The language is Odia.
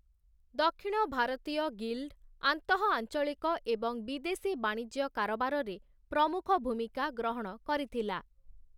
ଦକ୍ଷିଣ ଭାରତୀୟ ଗିଲ୍ଡ଼୍, ଆନ୍ତଃଆଂଚଳିକ ଏବଂ ବିଦେଶୀ ବାଣିଜ୍ୟ କାରବାରରେ ପ୍ରମୁଖ ଭୂମିକା ଗ୍ରହଣ କରିଥିଲା ।